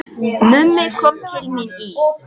Mummi kom til mín í